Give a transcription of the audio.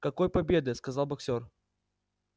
какой победы сказал боксёр